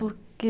Porque...